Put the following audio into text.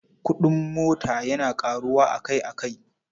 Kuɗin mota yana ƙaruwa akai-akai.